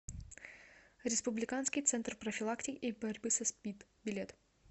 республиканский центр профилактики и борьбы со спид билет